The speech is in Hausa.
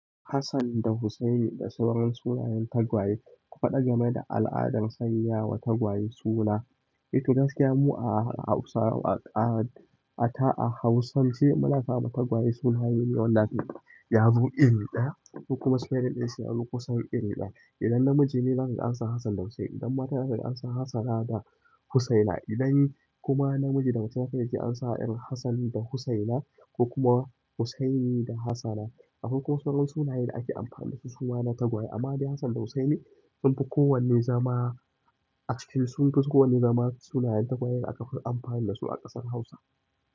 Hassan da Husseini da sauran sunayen tagwaye. Al'adan sanyawa tagwaye suna eh to gaskiya mu a Hausa a a ta a hausance muna sa ma tagwaye sunaye ne wanda shine yazo iri ɗaya kuma sunayen sunyi kusan iri ɗaya. Idan namiji ne zaka ga ansa Hassan da Husseini, idan mata ne zaka ga ansa Hassana da Husseina. Idan kuma namiji da mace ne sai yaji an sa irin Hassan da Husseina ko kuma Husseini da Hassana. Akwai kuma saurar sunaye da ake amfani da su suma na tagwaye amma dai Hassan da Husseini sunfi kowanne zama, actually sunfi kowanne zama sunayen tagwaye da aka fi amfani da su a ƙasar Hausa.